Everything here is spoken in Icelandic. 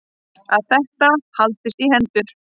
Að þetta haldist í hendur.